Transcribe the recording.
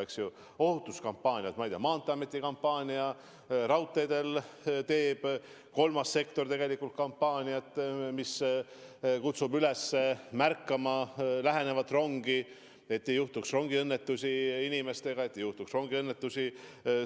Meil on ohutuskampaaniaid, näiteks Maanteeameti kampaania, raudteedel teeb kolmas sektor kampaaniat, mis kutsub üles märkama lähenevat rongi, et ei juhtuks rongiõnnetusi inimestega, et ei juhtuks rongiõnnetusi